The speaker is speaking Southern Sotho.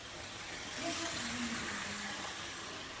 le ha a le monyenyane